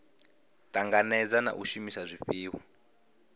tanganedza na u shumisa zwifhiwa